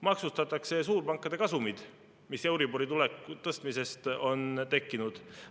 Maksustatakse suurpankade kasumid, mis euribori tõstmisest on tekkinud.